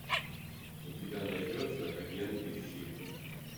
у тебя найдется агенты щит